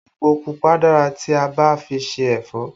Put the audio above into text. Èpò pupa dára tí a bá fi ṣe ẹ̀fọ́